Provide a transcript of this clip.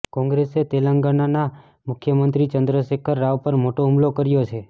કોંગ્રેસે તેલંગાનાના મુખ્યમંત્રી ચંદ્રશેખર રાવ પર મોટો હુમલો કર્યો છે